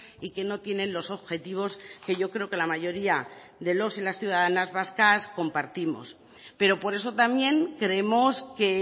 y que no tienen los objetivos que yo creo que la mayoría de los y las ciudadanas vascas compartimos pero por eso también creemos que